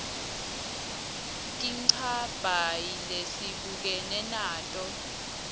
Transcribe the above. tinchabhayi lesibukene nato